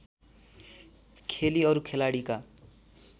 खेली अरू खेलाडीका